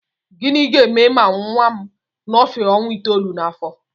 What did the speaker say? Gịnị ga-eme ma nnwa m nọfee ọnwa itoolu n'afọ?